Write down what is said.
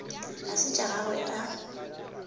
ga se tša gagwe a